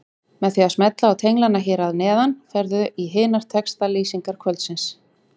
Með því að smella á tenglana hér að neðan ferðu í hinar textalýsingar kvöldsins.